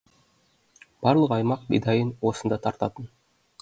барлық аймақ бидайын осында тартатын